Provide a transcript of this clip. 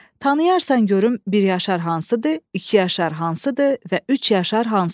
Tanıyarsan görüm bir yaşar hansıdır, iki yaşar hansıdır və üç yaşar hansıdır.